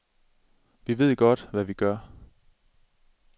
Vi ved godt, hvad vi gør.